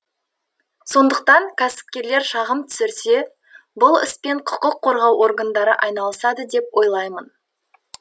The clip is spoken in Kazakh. сондықтан кәсіпкерлер шағым түсірсе бұл іспен құқық қорғау органдары айналысады деп ойлаймын